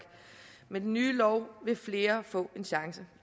men med den nye lov vil flere få en chance